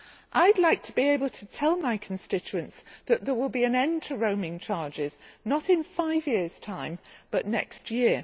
I would like to be able to tell my constituents that there will be an end to roaming charges not in five years time but next year.